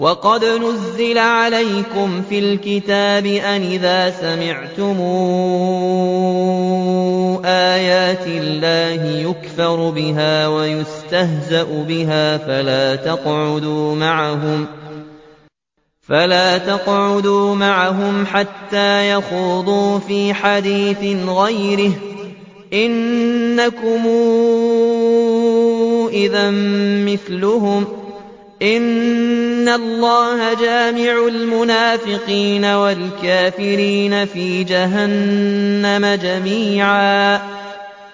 وَقَدْ نَزَّلَ عَلَيْكُمْ فِي الْكِتَابِ أَنْ إِذَا سَمِعْتُمْ آيَاتِ اللَّهِ يُكْفَرُ بِهَا وَيُسْتَهْزَأُ بِهَا فَلَا تَقْعُدُوا مَعَهُمْ حَتَّىٰ يَخُوضُوا فِي حَدِيثٍ غَيْرِهِ ۚ إِنَّكُمْ إِذًا مِّثْلُهُمْ ۗ إِنَّ اللَّهَ جَامِعُ الْمُنَافِقِينَ وَالْكَافِرِينَ فِي جَهَنَّمَ جَمِيعًا